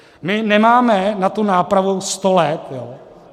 My nemáme na tu nápravu sto let.